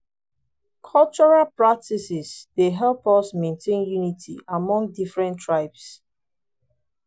cultural practices dey help us maintain unity among different tribes.